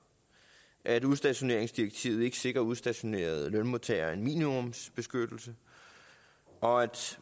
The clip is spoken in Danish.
at udstationeringsdirektivet ikke sikrer udstationerede lønmodtagere en minimumsbeskyttelse og at